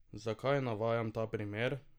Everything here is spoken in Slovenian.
Zakaj navajam ta primer?